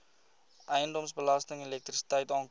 eiendomsbelasting elektrisiteit aankope